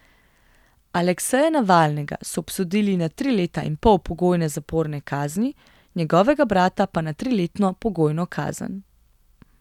Alekseja Navalnega so obsodili na tri leta in pol pogojne zaporne kazni, njegovega brata pa na triletno pogojno kazen.